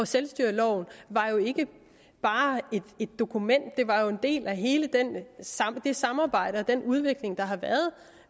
selvstyreloven var jo ikke bare et dokument den var en del af hele det samarbejde og den udvikling der har været